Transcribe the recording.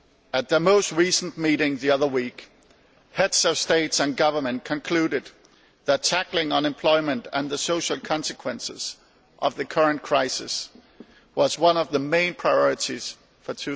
At the most recent meeting the other week, Heads of State and Government concluded that tackling unemployment and the social consequences of the current crisis was one of the main priorities for